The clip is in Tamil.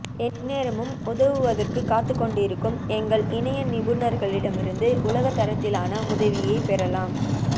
எந்நேரமும் உதவுவதற்குக் காத்துக்கொண்டிருக்கும் எங்கள் இணைய நிபுணர்களிடமிருந்து உலகத் தரத்திலான உதவியைப் பெறலாம்